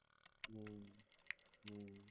હમ્મ હમ્મ